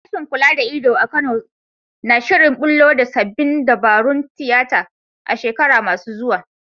Sashen kula da ido a Kano na shirin bullo da sabbin dabarun tiyata a shekaru masu zuwa.